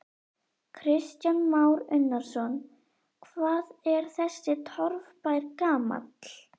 Kristján Már Unnarsson: Hvað er þessi torfbær gamall?